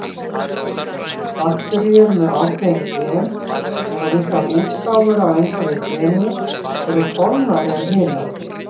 Bakteríur með ákveðin gen, eða vissar útgáfur af einhverju geni, eru þolnari en hinar.